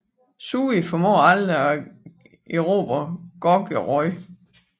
Sui formåede aldrig at erobre Gogueryo